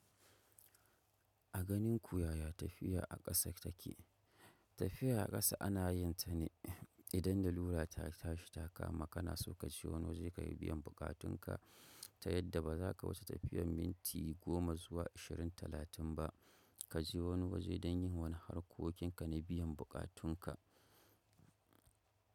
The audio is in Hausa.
A ganinku yaya tafiya a kasa take. Tafiya a ƙasa ana yin ta ne idan la lura ta tashi ta kama kana so ka je wani waje kayi biyan buƙatunka ta yadda ba za ka wuce tafiyar minti goma zuwa ashirin talatin ba ka je wani waje don yin wani harkokinka na biyan buƙatunka.